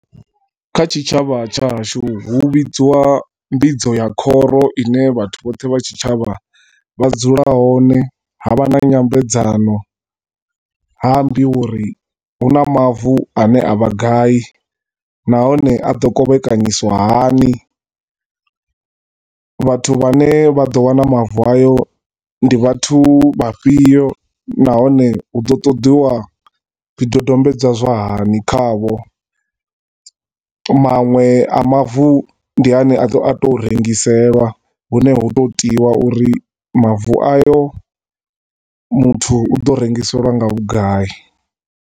Kha tshitshavha tshahashu hu vhidziwa mbidzo ya khoro ine vhathu vhoṱhe vha tshitshavha vha dzula hone, ha vha na nyambedzano, ha ambiwa uri hu na mavu a ne a vha gai, nahone a do kovhekanyisiwa hani, vhathu vhane vha do wana mavu a yo, ndi vhathu vha fhio, na hone hu ḓo ṱoḓiwa zwi dodombedzwa zwa hani khavho. Manwe a mavu ndi ane a to rengiselwa, hu ne ho to tiwa u ri mavu ayo muthu u ḓo rengiseliwa nga vhugai.